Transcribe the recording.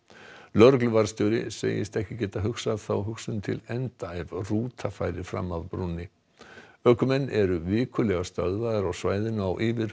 lögregluvarðstjóri segist ekki geta hugsað þá hugsun til enda ef rúta færi fram af brúnni ökumenn eru vikulega stöðvaðir á svæðinu á yfir